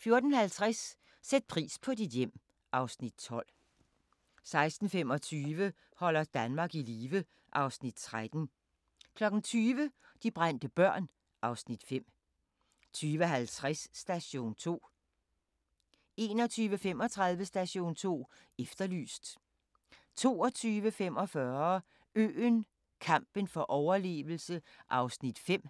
14:50: Sæt pris på dit hjem (Afs. 12) 16:25: Holder Danmark i live (Afs. 13) 20:00: De brændte børn (Afs. 5) 20:50: Station 2 21:35: Station 2 Efterlyst 22:45: Øen – kampen for overlevelse (Afs. 5)